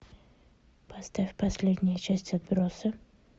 поставь последнюю часть отбросы